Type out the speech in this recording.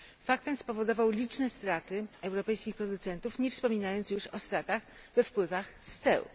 Fakt ten spowodował liczne straty europejskich producentów, nie wspominając już o stratach we wpływach z ceł.